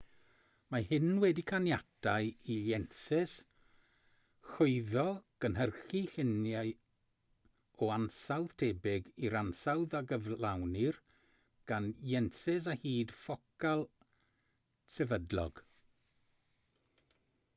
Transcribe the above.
mae hyn wedi caniatáu i lensys chwyddo gynhyrchu llunia o ansawdd tebyg i'r ansawdd a gyflawnir gan lensys â hyd ffocal sefydlog